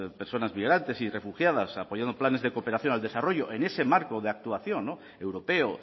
personas migrantes y refugiadas apoyando planes de cooperación al desarrollo en ese marco de actuación no europeo